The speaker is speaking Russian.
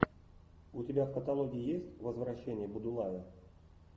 у тебя в каталоге есть возвращение будулая